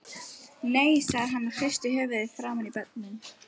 Nei, sagði hann og hristi höfuðið framan í börnin.